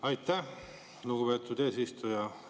Aitäh, lugupeetud eesistuja!